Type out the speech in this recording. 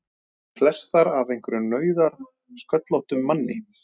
Flestar af einhverjum nauðasköllóttum manni!